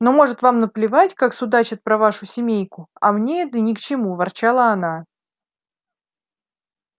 ну может вам наплевать как судачат про вашу семейку а мне это ни к чему ворчала она